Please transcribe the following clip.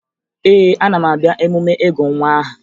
Ee, ana m abịa emume ịgụ nwa aha